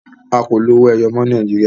a kọ ló owoeye mọ ní Nàìjíríà